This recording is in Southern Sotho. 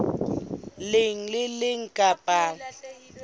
leng le le leng kapa